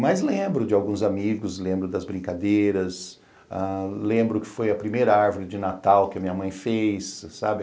Mas lembro de alguns amigos, lembro das brincadeiras, ah lembro que foi a primeira árvore de Natal que a minha mãe fez, sabe?